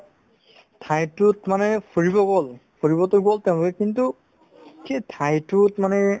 ঠাইতোত মানে ফুৰিব গ'ল ফুৰিবতো গ'ল তেওঁলোকে কিন্তু সেই ঠাইতোত মানে